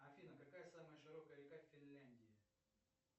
афина какая самая широкая река в финляндии